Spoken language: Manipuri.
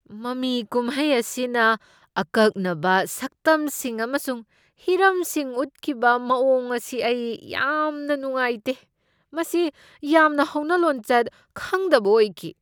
ꯃꯃꯤ ꯀꯨꯝꯍꯩ ꯑꯁꯤꯅ ꯑꯀꯛꯅꯕ ꯁꯛꯇꯝꯁꯤꯡ ꯑꯃꯁꯨꯡ ꯍꯤꯔꯝꯁꯤꯡ ꯎꯠꯈꯤꯕ ꯃꯑꯣꯡ ꯑꯁꯤ ꯑꯩ ꯌꯥꯝꯅ ꯅꯨꯡꯉꯥꯏꯇꯦ꯫ ꯃꯁꯤ ꯌꯥꯝꯅ ꯍꯧꯅꯂꯣꯟꯆꯠ ꯈꯪꯗꯕ ꯑꯣꯏꯈꯤ꯫